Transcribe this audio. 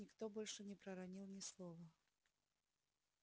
никто больше не проронил ни слова